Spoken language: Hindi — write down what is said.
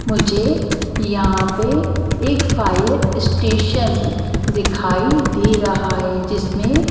मुझे यहां पे एक फायर स्टेशन दिखाई दे रहा है जिसमें ।